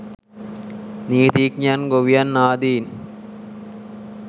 නීතිඥයන් ගොවියන් ආදීන්